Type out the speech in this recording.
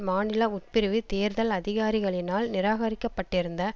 மாநில உட்பிரிவு தேர்தல் அதிகாரிகளினால் நிராகரிக்கப்பட்டிருந்த